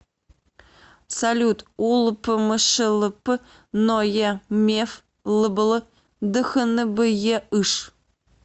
салют улпмшлп ное меф лбл дхнбеыш